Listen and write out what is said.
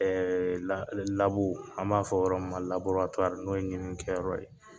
an b'a fɔ yɔrɔ min ma n'o ye ɲini kɛyɔrɔ ye